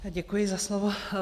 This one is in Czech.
Děkuji za slovo.